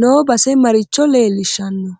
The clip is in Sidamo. noo base maricho leelishanno